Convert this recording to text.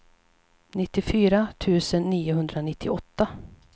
nittiofyra tusen niohundranittioåtta